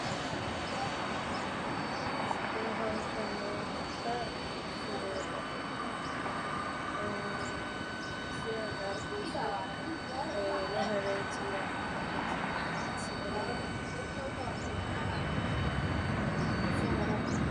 Sidee howshan loogu qabtaa bulshadada waa sidaad arkeyso loo hagaajiya.